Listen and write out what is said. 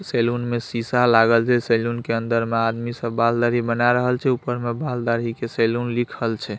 Salon में सीसा लागल छै सैलून के अंदर में आदमी सब बाल-दाढ़ी बना रहल छै ऊपर में बाल-दाढ़ी के सैलून लिखल छै।